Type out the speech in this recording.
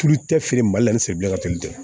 Tulu tɛ feere mali la ni ka teli dɛ